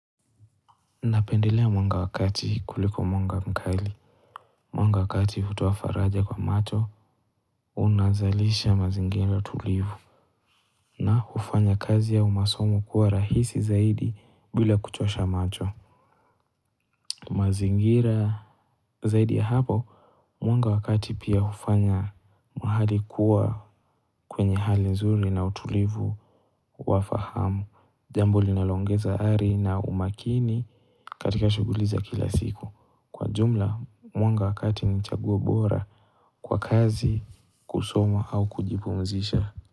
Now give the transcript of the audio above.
Napendelea mwanga wa kati kuliko mwanga mkali, mwanga wa kati hutoa faraja kwa macho, unazalisha mazingira tulivu, na hufanya kazi ya masomo kuwa rahisi zaidi bila kuchosha macho, mazingira zaidi ya hapo, mwanga wa kati pia hufanya mahali kuwa kwenye hali nzuri na utulivu wa fahamu, jambo linaloongeza ari na umakini katika shughuli za kila siku. Kwa jumla mwanga wa kati ni chagua bora kwa kazi kusoma au kujipumzisha.